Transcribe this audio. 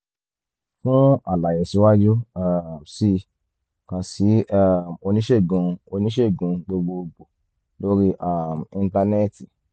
fún àlàyé síwájú um sí i kàn sí um oníṣègùn oníṣègùn gbogbo gbòò lórí um íńtánẹ́ẹ̀tì